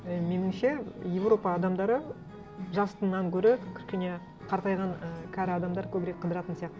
і меніңше еуропа адамдары жасынан гөрі кішкене қартайған і кәрі адамдар көбірек қыдыратын сияқты